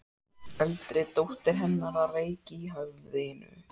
Eldri dóttir hennar var veik í höfðinu.